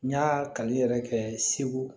N y'a kali yɛrɛ kɛ segu